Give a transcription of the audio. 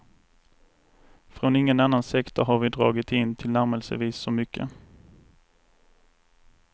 Från ingen annan sektor har vi dragit in tillnärmelsevis så mycket.